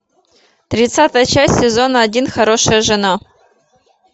тридцатая часть сезона один хорошая жена